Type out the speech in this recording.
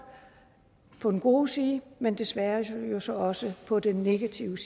på den gode side men desværre jo så også på den negative